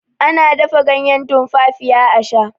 ana dafa ganyen tumfafiya a Sha